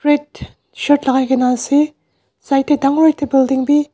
shirt lagai kena ase side tey dangor ekta building bhi.